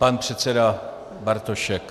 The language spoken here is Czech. Pan předseda Bartošek.